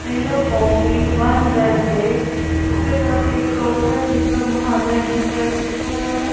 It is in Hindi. Zero O P one Z J उसके साथ एक शॉप है जिस पर महाजय एंटरप्राइज लिखा हुआ है।